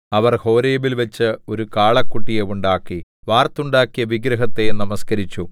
അവർ ഹോരേബിൽവച്ച് ഒരു കാളക്കുട്ടിയെ ഉണ്ടാക്കി വാർത്തുണ്ടാക്കിയ വിഗ്രഹത്തെ നമസ്കരിച്ചു